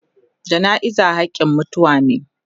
Jana'iza hakin mutuwa me.